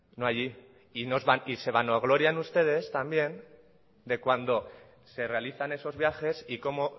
y se vanaglorian ustedes también de cuando se realizan esos viajes y como